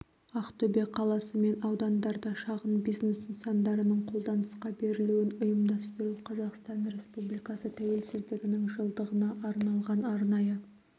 ақтөбе қаласы мен аудандарда шағын бизнес нысандарының қолданысқа берілуін ұйымдастыру қазақстан республикасы тәуелсіздігінің жылдығына арналған арнайы